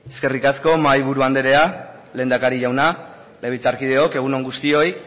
eskerrik asko mahaiburu anderea lehendakari jauna legebiltzarkideok egun on guztioi